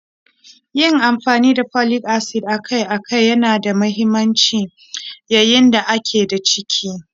Yin amfani da Folic acid akai-akai yana da mahimmanci yayin da a ke da ciki.